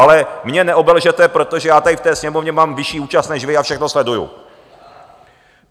Ale mě neobelžete, protože já tady v té Sněmovně mám vyšší účast než vy a všechno sleduji.